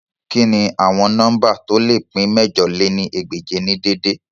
Kini awọn nọmba to le pin mẹ̀jọ lé ní ẹgbẹ́je ni dede?